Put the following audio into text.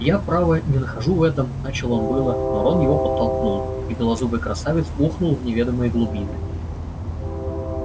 я право не нахожу в этом начал он было но рон его подтолкнул и белозубый красавец ухнул в неведомые глубины